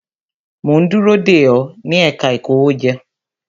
Mo ń dúró dè ó, ní ẹ̀ka ìkówéjọ